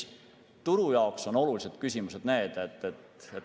Turu jaoks on olulised küsimused need.